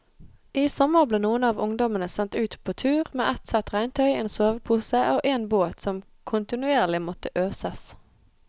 I sommer ble noen av ungdommene sendt ut på tur med ett sett regntøy, en sovepose og en båt som kontinuerlig måtte øses.